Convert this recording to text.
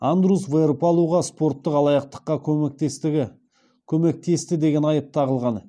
андрус веэрпалуға спорттық алаяқтыққа көмектесті деген айып тағылған